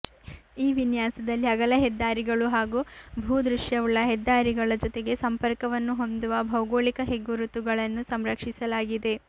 ಈ ವಿನ್ಯಾಸದಲ್ಲಿ ಅಗಲ ಹೆದ್ದಾರಿಗಳು ಹಾಗು ಭೂದೃಶ್ಯವುಳ್ಳ ಹೆದ್ದಾರಿಗಳ ಜೊತೆಗೆ ಸಂಪರ್ಕವನ್ನು ಹೊಂದುವ ಭೌಗೋಳಿಕ ಹೆಗ್ಗುರುತುಗಳನ್ನು ಸಂರಕ್ಷಿಸಲಾಗಿದೆ